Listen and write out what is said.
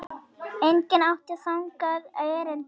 Enginn átti þangað erindi.